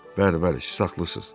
Bəli, bəli, siz haqlısız.